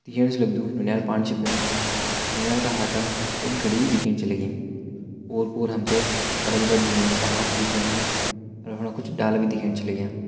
दिखेण सी लगदु नौनियाल पाणी छ पीणू नौनियाल का हाथ म एक घड़ी भी दिखेण च लगी ओर पोर हमते बड़ा बड़ा ढुंगो कु पहाड़ च दिखेण लग्यूं यु मणा कुछ डाला भी दिखेण च लग्या।